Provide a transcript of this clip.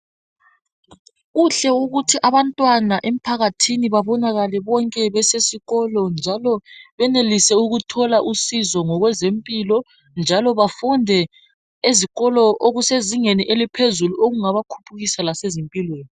Kuhle ukuthi abantwana emphakathini babonakale bonke besesikolo njalo benelise ukuthola usizo ngokwezempilo njalo bafunde ezikolo okusezingeni eliphezulu okungaba khulisa lasezimpilweni